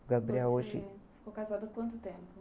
O Gabriel hoje... ) ficou casado quanto tempo?